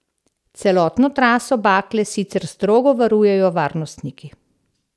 Celotno traso bakle sicer strogo varujejo varnostniki.